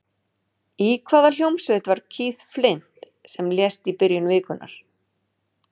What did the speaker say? Í hvaða hljómsveit var Keith Flint sem lést í byrjun vikunnar?